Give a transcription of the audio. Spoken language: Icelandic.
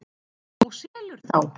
Og selur þá.